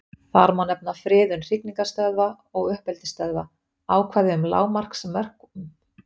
Má þar nefna friðun hrygningarstöðva og uppeldisstöðva, ákvæði um lágmarksmöskvastærðir, auk ýmissa annarra friðunaraðgerða.